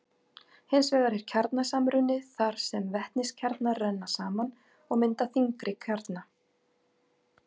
Hins vegar er kjarnasamruni þar sem vetniskjarnar renna saman og mynda þyngri kjarna.